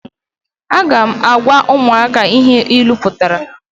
Aga m agwa umuaka ihe ilu putara